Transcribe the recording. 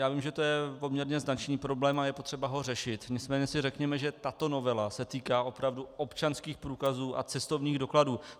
Já vím, že je to poměrně značný problém a je potřeba ho řešit, nicméně si řekněme, že tato novela se týká opravdu občanských průkazů a cestovních dokladů.